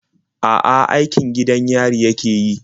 A'a, aikin gidan yari yake yi.